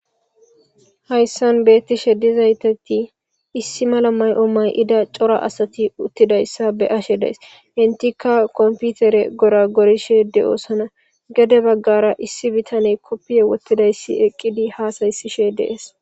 Haysan betishe dizati issi mala mayo mayidi cora asati utidaya be'ashe days etika kopitere goragorishe de'osona gede bagara issi bitaney kofe wotididaysi eqidi hasayishe des